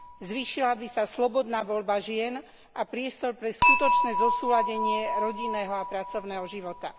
Zvýšila by sa slobodná voľba žien a priestor pre skutočné zosúladenie rodinného a pracovného života.